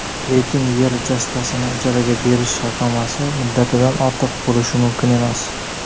lekin yer uchastkasini ijaraga berish shartnomasi muddatidan ortiq bo‘lishi mumkin emas.